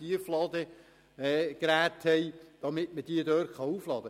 Stellen Sie sich diese Übung vor!